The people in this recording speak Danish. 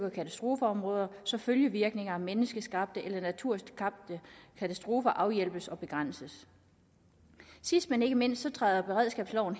og katastrofeområder så følgevirkninger af menneskeskabte eller naturskabte katastrofer afhjælpes og begrænses sidst men ikke mindst træder beredskabsloven